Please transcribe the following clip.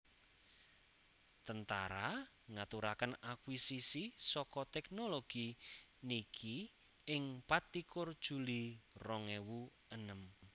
tentara ngaturaken akuisisi saka Tèknologi niki ing patlikur juli rong ewu enem